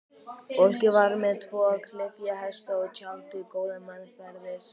Fólkið var með tvo klyfjahesta og tjaldið góða meðferðis.